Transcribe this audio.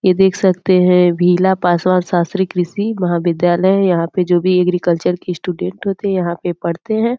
ये देख सकते हैं भीला पासवान शास्त्री कृषि महाविद्यालय है यहां पर जो भी एग्रीकल्चर के स्टूडेंट होते हैं यहां पे पढ़ते हैं।